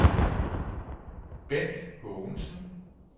Bendt Haagensen